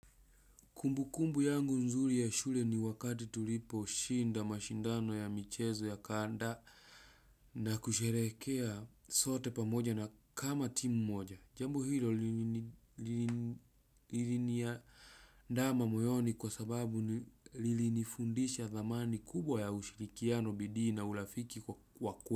Kumbukumbu yangu ya shule ni wakati tuliposhinda mashindano ya michezo ya kanda na kusherekea zote pamoja kama timu moja. Jambo hilo liliniandama moyoni kwa sababu lilini fundisha thamani kubwa ya ushirikiano bidii na urafiki kwa kwe.